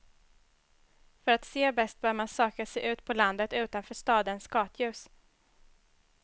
För att se bäst bör man söka sig ut på landet, utanför stadens gatljus.